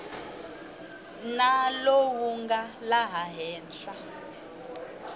na lowu nga laha henhla